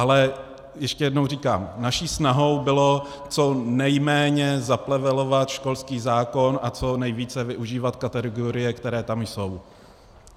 Ale ještě jednou říkám, naší snahou bylo co nejméně zaplevelovat školský zákon a co nejvíce využívat kategorie, které tam jsou.